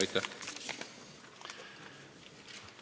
Aitäh!